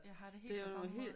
Jeg har det helt på samme måde